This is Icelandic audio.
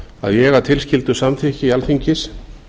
að ég að tilskildu samþykki alþingis